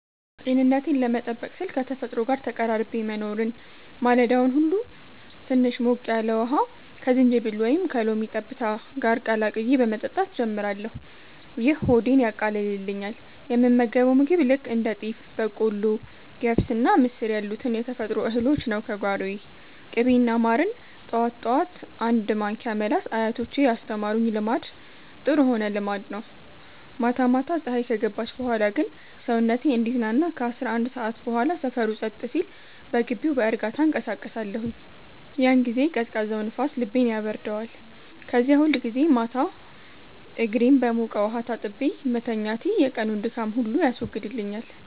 ጤንነቴን ለመጠበቅ ስል ከተፈጥሮ ጋር ተቀራርቤ መኖርን። ማለዳውን ሁሉ ትንሽ ሞቅ ያለ ውሃ ከዝንጅብል ወይም ከሎሚ ጠብታ ጋር ቀላቅዬ በመጠጣት ጀምራለሁ፤ ይህ ሆዴን ያቃልልኛል። የምመገበው ምግብ ልክ እንደ ጤፍ፣ በቆሎ፣ ገብስና ምስር ያሉትን የተፈጥሮ እህሎች ነው፤ ከጓሮዬ። ቅቤና ማርን ጠዋት ጠዋት አንድ ማንኪያ መላስ አያቶቼ ያስተማሩኝ ልማድ ጥሩ ሆነ ልማድ ነው። ማታ ማታ ፀሀይ ከገባች በኋላ ግን ሰውነቴ እንዲዝናና ከ11 ሰዓት በኋላ ሰፈሩ ጸጥ ሲል በግቢው በእርጋታ እንቀሳቀሳለሁኝ። ያን ጊዜ ቀዝቃዛው ንፋስ ልቤን ያበርደዋል። ከዚያ ሁልጊዜ ማታ እግሬን በሞቀ ውሃ ታጥቤ መተኛቴ የቀኑን ድካም ሁሉ ያስወግድልኛል።